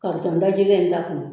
Karitɔn da gɛlɛn in ta kun